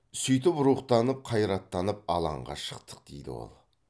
сөйтіп рухтанып қайраттанып алаңға шықтық дейді ол